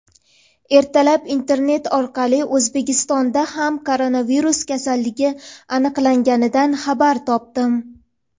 Ertalab internet orqali O‘zbekistonda ham koronavirus kasalligi aniqlanganidan xabar topdim.